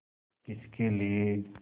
किसके लिए